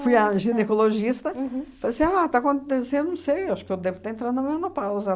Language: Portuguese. Fui à ginecologista, falei assim, ah, está acontecendo, não sei, acho que eu devo estar entrando em menopausa.